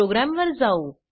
program वर जाऊ